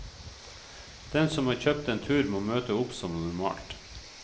Den som har kjøpt en tur, må møte opp som normalt.